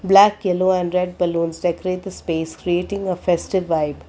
black yellow and red balloons decorate the space creating a festive vibe.